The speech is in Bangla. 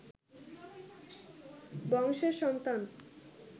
বংশের সন্তান